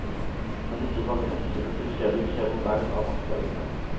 Men ikke bare hensynet til fjellet krever vern av vassdragene.